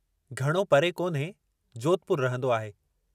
घणो परे कोन्हे, जोधपुर रहंदो आहे।